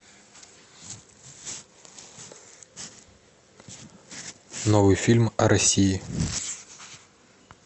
новый фильм о россии